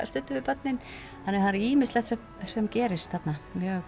stundum við börnin þannig það er ýmislegt sem sem gerist þarna